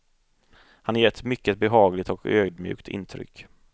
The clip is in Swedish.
Han ger ett mycket behagligt och ödmjukt intryck.